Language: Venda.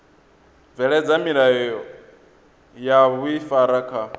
bveledza milayo ya vhuifari kha